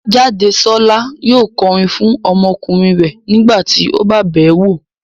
Jádesọ́lá yóò kọrin fún ọmọkùnrin rẹ̀ nígbà tí ó bá bẹ̀ẹ́ wo